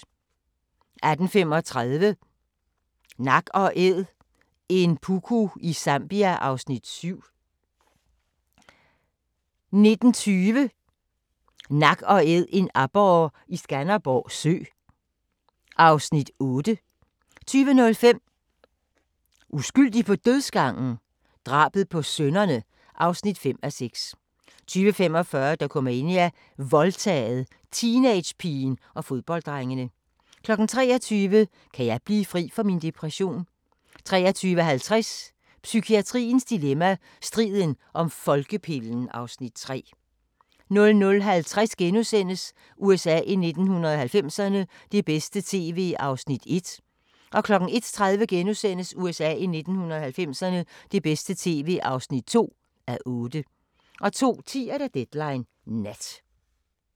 18:35: Nak & Æd – en puku i Zambia (Afs. 7) 19:20: Nak & Æd – en aborre i Skanderborg Sø (Afs. 8) 20:05: Uskyldig på dødsgangen? Drabet på sønnerne (5:6) 20:45: Dokumania: Voldtaget – teenagepigen og fodbolddrengene 23:00: Kan jeg blive fri for min depression? 23:50: Psykiatriens dilemma – Striden om folkepillen (Afs. 3) 00:50: USA i 1990'erne – det bedste tv (1:8)* 01:30: USA i 1990'erne – det bedste tv (2:8)* 02:10: Deadline Nat